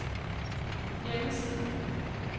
hjemmeside